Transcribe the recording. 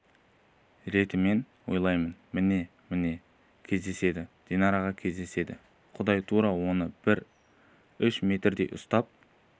реті мен ойлаймын міне міне кездеседі динараға кездеседі құдай тура оны бір үш метрдей ұстап